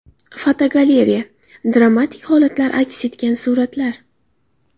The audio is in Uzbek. Fotogalereya: Dramatik holatlar aks etgan suratlar.